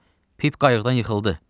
Pip qayıqdan yıxıldı.